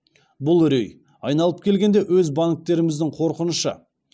бұл үрей айналып келгенде өз банктеріміздің қорқынышы